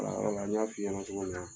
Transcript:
n y'a f'i ɲɛna cogo min na.